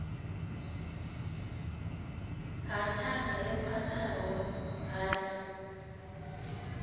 ha ṱhanga yo khwaṱhaho hard